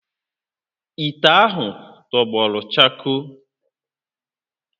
Ite ahụ tọgbọ chakoo